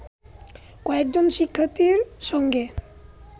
কয়েকজন শিক্ষার্থীর সঙ্গে